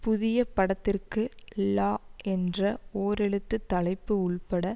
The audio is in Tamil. புதிய படத்திற்கு ழ என்ற ஓரெழுத்து தலைப்பு உள்பட